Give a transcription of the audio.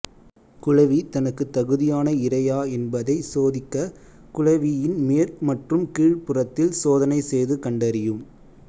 குளவி தனக்கு தகுதியான இரையா என்பதைச் சோதிக்ககுளவியின் மேற் மற்றும் கீழ்ப் புறத்தில் சோதனை செய்து கண்டறியும்